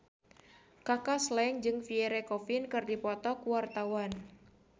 Kaka Slank jeung Pierre Coffin keur dipoto ku wartawan